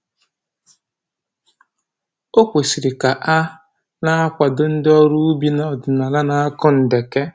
O kwesịrị ka a na-akwado ndị ọrụ ubi ọdịnaala na-akọ ndeke